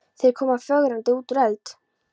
Þeir koma flögrandi út úr eld